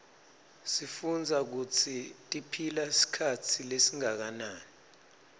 sifundza kutsi tiphila sikhatsi lesinganani